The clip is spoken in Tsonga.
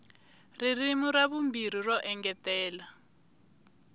ririmi ra vumbirhi ro engetela